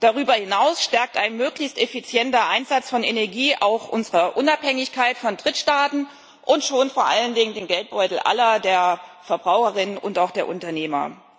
Darüber hinaus stärkt ein möglichst effizienter Einsatz von Energie auch unsere Unabhängigkeit von Drittstaaten und schont vor allen Dingen den Geldbeutel aller, der Verbraucherinnen und auch der Unternehmer.